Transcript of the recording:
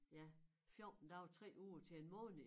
Ja 14 dage 3 uger til en måned